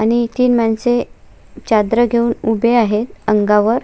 आणि इथे माणसे चादर घेऊन उभी आहेत अंगावर.